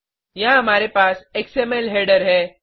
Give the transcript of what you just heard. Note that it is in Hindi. यहाँ हमारे पास एक्सएमएल हेडर है